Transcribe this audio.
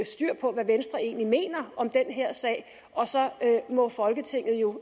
styr på hvad venstre egentlig mener om den her sag og så må folketinget jo